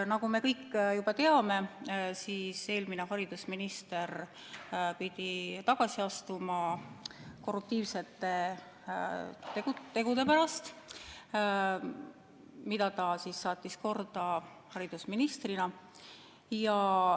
" Nagu me kõik juba teame, eelmine haridusminister pidi tagasi astuma korruptiivsete tegude pärast, mida ta saatis korda haridusministrina.